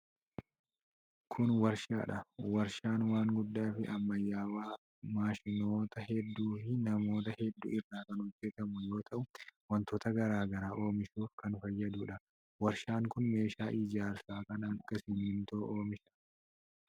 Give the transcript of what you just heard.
Kun warshaa dha. Warshaan waan guddaa fi ammayyawaa maashinoota hedduu fi manoota hedduu irraa kan hojjatamu yoo ta'u, wantoota garaa garaa oomishuuf kan fayyaduu dha. Warshaan kun meeshaa ijaarsaa kan akka simiintoo oomisha.